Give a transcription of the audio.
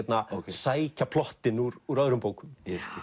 sækja plottin úr úr öðrum bókum